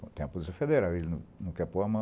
Tem a Polícia Federal, ele não não quer pôr a mão.